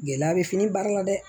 Gɛlɛya bɛ fini baara la dɛ